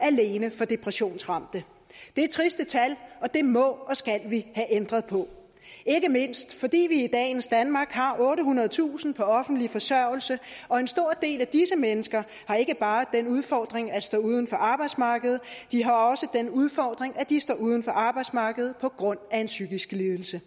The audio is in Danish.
alene for depressionsramte det er triste tal og det må og skal vi have ændret på ikke mindst fordi vi i dagens danmark har ottehundredetusind på offentlig forsørgelse og en stor del af disse mennesker ikke bare har den udfordring at stå uden for arbejdsmarkedet de har også den udfordring at de står uden for arbejdsmarkedet på grund af en psykisk lidelse